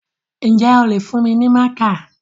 Ǹjẹ́ o lè fún mi ní mákà?